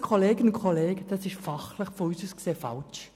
Dies halten wir aus fachlicher Sicht für falsch.